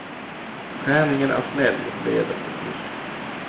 Träningen är snäll mot leder och muskler.